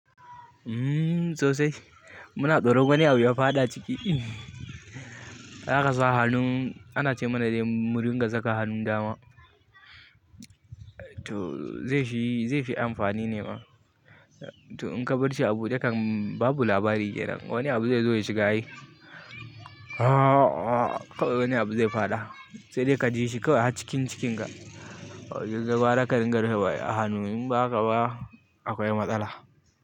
Mmm sosai. Muna tsoro wani abu ya faɗa ciki. Dan asa hannu, ana ce mana dai mu riƙa sa hannun dama to zai fi, zai fi amfani ne ma. To in ka bar shi abude kam babu labari kenan. Wani abu zai zo ya shiga yi. Ah ah, kawai wani abu zai faɗa. Sai dai ka ji shi kawai a cikin cikinka. Kai gwara ka ringa rufe wa a hannu inba haka ba akwai matsala.